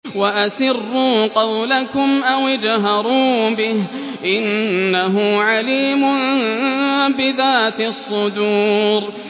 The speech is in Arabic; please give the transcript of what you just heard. وَأَسِرُّوا قَوْلَكُمْ أَوِ اجْهَرُوا بِهِ ۖ إِنَّهُ عَلِيمٌ بِذَاتِ الصُّدُورِ